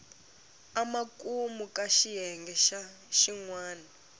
emakumu ka xiyenge xin wana